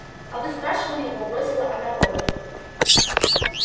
а вы спрашивали его бросила она богерту